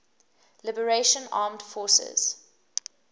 liberation armed forces